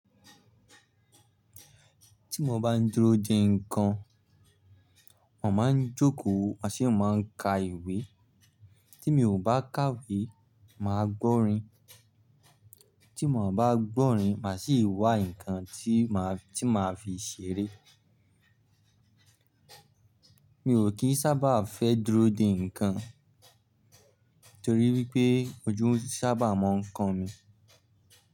Tí mo bá ń dúró de ǹkan, màá ń jókòó, màá sì ń ka ìwé. Tí mi ò bá kàwé, màá gbọ́ orin. Tí mo bá gbọ́ orin, màá sì wá ǹkan tí màá fi ṣeré. Mi ò kí ń sábà fẹ́ dúró de ǹkan torí wípé ojú ń sábà máa ń kan mi.